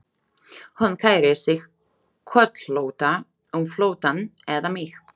Hún kærir sig kollótta um flóttann eða mig.